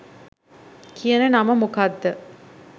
කියන නම මොකක්‌ද?